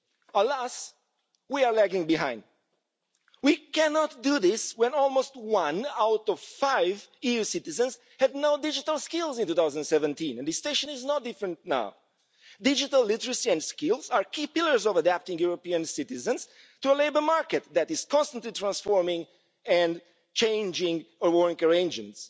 Alas, we are lagging behind. We cannot do this when almost one out of five EU citizens had no digital skills in 2017 and the situation is no different now. Digital literacy and skills are key pillars of adapting European citizens to a labour market that is constantly transforming and changing our work arrangements.